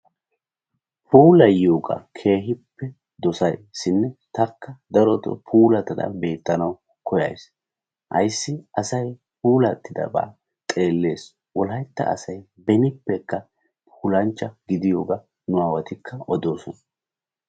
puulayiyogaa keehippe dosays shin taakka darotoo puulatada beettanawu koyays. aysi asay puulatidaba xeeles. wolaytta asay benippekka puulancha gidiyoogaa nuwaawati odidosona.